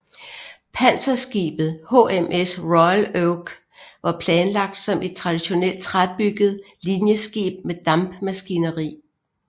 Panserskibet HMS Royal Oak var planlagt som et traditionelt træbygget linjeskib med dampmaskineri